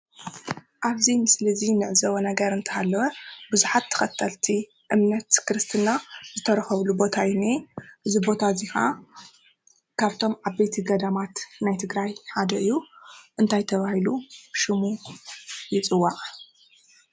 ኣብዚ ምስሊ እዚ እንዕዘቦ ነገር እንትሃለወ ቡዝሓት ተከተልቲ እምነት ክርስትና ዝተረከቡሉ ቦታ እዩ ዝንሄ:: እዚ ቦታ እዚ ከዓ ካብቶም ዓበይቲ ገዳማት ናይ ትግራይ ሓደ እዩ ፡፡እንታይ ተባሂሉ ሽሙ ይፅዋዕ ?